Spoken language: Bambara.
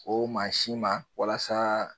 O mansi ma walasa